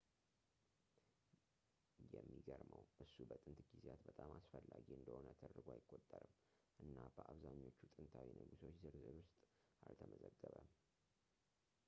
የሚገርመው ፣ እሱ በጥንት ጊዜያት በጣም አስፈላጊ እንደሆነ ተደርጎ አይቆጠርም እና በአብዛኞቹ ጥንታዊ ንጉሶች ዝርዝር ውስጥ አልተመዘገበም